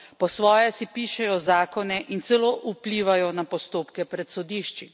Po svoje si pišejo zakone in celo vplivajo na postopke pred sodišči.